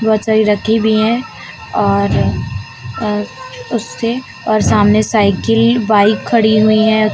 बहोत सारी रखी हुई हैं और अ उससे और सामने साइकिल बाइक खड़ी हुई हैं।